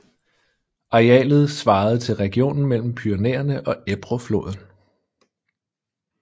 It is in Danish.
Arealet svarede til regionen mellem Pyrenæerne og Ebro floden